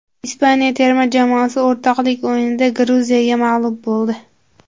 Ispaniya terma jamoasi o‘rtoqlik o‘yinida Gruziyaga mag‘lub bo‘ldi .